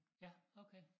Ja okay